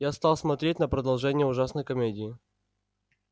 я стал смотреть на продолжение ужасной комедии